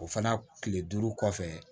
O fana kile duuru kɔfɛ